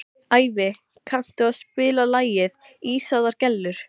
Ævi, kanntu að spila lagið „Ísaðar Gellur“?